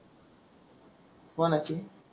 कोणाची